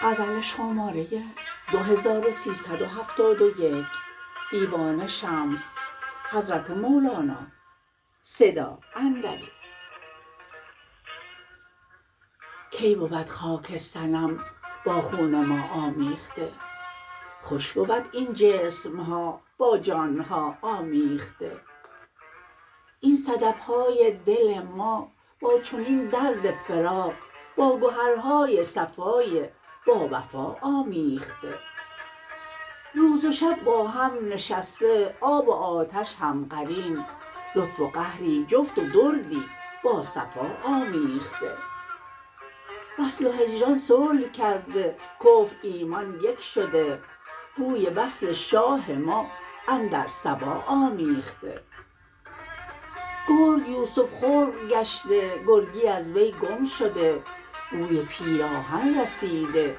کی بود خاک صنم با خون ما آمیخته خوش بود این جسم ها با جان ها آمیخته این صدف های دل ما با چنین درد فراق با گهرهای صفای باوفا آمیخته روز و شب با هم نشسته آب و آتش هم قرین لطف و قهری جفت و دردی با صفا آمیخته وصل و هجران صلح کرده کفر ایمان یک شده بوی وصل شاه ما اندر صبا آمیخته گرگ یوسف خلق گشته گرگی از وی گم شده بوی پیراهن رسیده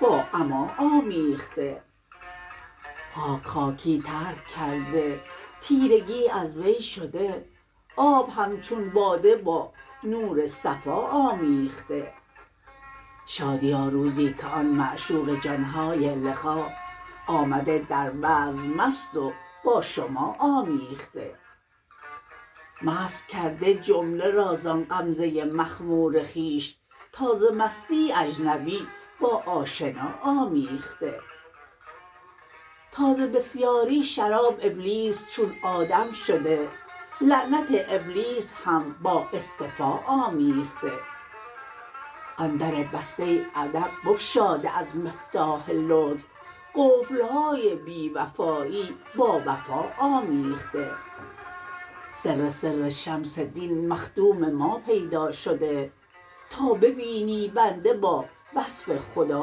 با عما آمیخته خاک خاکی ترک کرده تیرگی از وی شده آب همچون باده با نور صفا آمیخته شادیا روزی که آن معشوق جان های لقا آمده در بزم مست و با شما آمیخته مست کرده جمله را زان غمزه مخمور خویش تا ز مستی اجنبی با آشنا آمیخته تا ز بسیاری شراب ابلیس چون آدم شده لعنت ابلیس هم با اصطفا آمیخته آن در بسته ابد بگشاده از مفتاح لطف قفل های بی وفایی با وفا آمیخته سر سر شمس دین مخدوم ما پیدا شده تا ببینی بنده با وصف خدا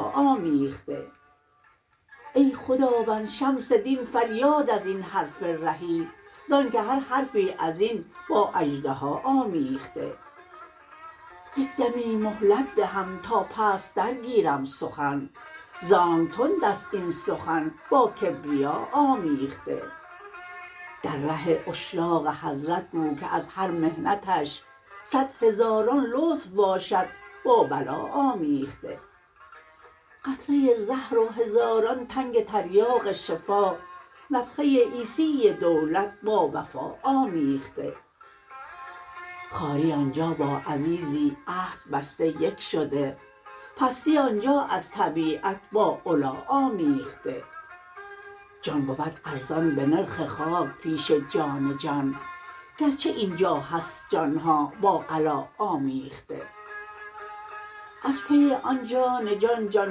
آمیخته ای خداوند شمس دین فریاد از این حرف رهی ز آنک هر حرفی از این با اژدها آمیخته یک دمی مهلت دهم تا پستتر گیرم سخن ز آنک تند است این سخن با کبریا آمیخته در ره عشاق حضرت گو که از هر محنتش صد هزاران لطف باشد با بلا آمیخته قطره زهر و هزاران تنگ تریاق شفا نفخه عیسی دولت با وبا آمیخته خواری آن جا با عزیزی عهد بسته یک شده پستی آن جا از طبیعت با علا آمیخته جان بود ارزان به نرخ خاک پیش جان جان گرچه این جا هست جان ها با غلا آمیخته از پی آن جان جان جان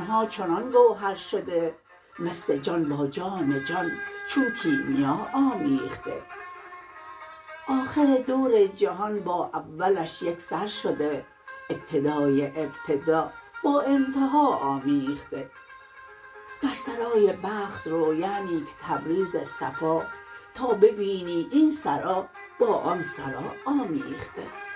ها چنان گوهر شده مس جان با جان جان چون کیمیا آمیخته آخر دور جهان با اولش یک سر شده ابتدای ابتدا با انتها آمیخته در سرای بخت رو یعنی که تبریز صفا تا ببینی این سرا با آن سرا آمیخته